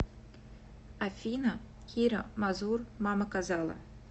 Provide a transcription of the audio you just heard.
афина кира мазур мама казала